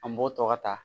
An b'o tɔ ka ta